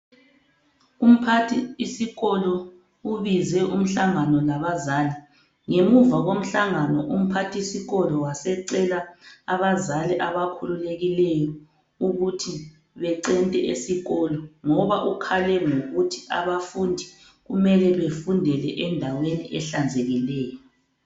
Umphathisikolo ubize umhlangano labazali ngemuva komhlangano umphathisikolo wasecela abazali abakhululekileyo ukuthi becente esikolo ngoba ukhale ngokuthi abafundi kumele befundele endaweni ehlanzekileyo.